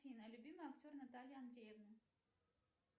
афина любимый актер натальи андреевны